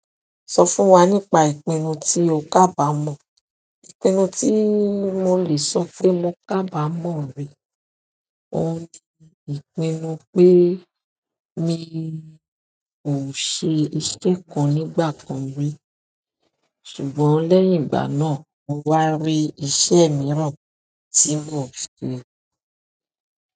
Sọ fún wa nípa ìpinnu tí o kà bá mọ̀. Ìpinnu tí mo lè sọ pé mo kà bá mọ̀ rí, òun ni ìpinnu pé mi mi o ṣe iṣẹ́ kan nígbà kan rí, ṣùgbọ́n lẹ́yìn ìgbà náà mo wa ri iṣẹ́ kan tí mo n ṣe.